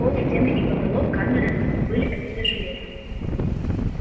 пол стены и потолок камеры были обиты железом